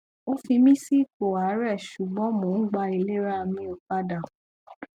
o fi mi si ipo aarẹ sugbọn mo n gba ilerami opada